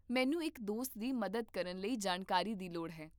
ਮੈਨੂੰ ਇੱਕ ਦੋਸਤ ਦੀ ਮਦਦ ਕਰਨ ਲਈ ਜਾਣਕਾਰੀ ਦੀ ਲੋੜ ਹੈ